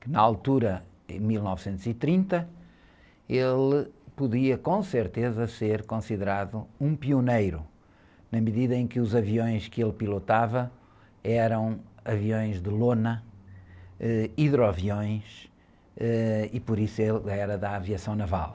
que na altura, em mil novecentos e trinta, ele podia, com certeza, ser considerado um pioneiro, na medida em que os aviões que ele pilotava eram aviões de lona, ãh, hidroaviões, ãh, e por isso ele era da aviação naval.